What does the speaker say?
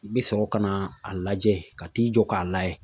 I bɛ sɔrɔ ka na a lajɛ ka t'i jɔ k'a layɛ